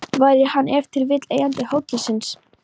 Væri hann ef til vill eigandi hótelsins?